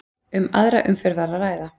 Um aðra umferð var að ræða